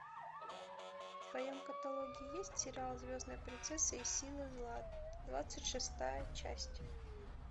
в твоем каталоге есть сериал звездная принцесса и силы зла двадцать шестая часть